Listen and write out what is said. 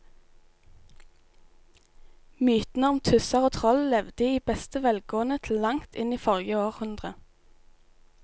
Mytene om tusser og troll levde i beste velgående til langt inn i forrige århundre.